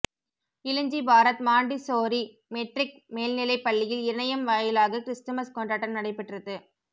Ilanji Bharat Montessori matric மேல்நிலைப் பள்ளியில் இணையம் வாயிலாக கிறிஸ்துமஸ் கொண்டாட்டம் நடைபெற்றது